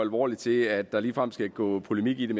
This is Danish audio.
alvorligt til at der ligefrem skal gå polemik i det